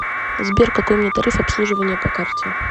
сбер какой у меня тариф обслуживания по карте